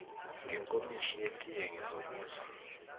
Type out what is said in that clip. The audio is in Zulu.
ngenkomishi yetiye ngizokuzwa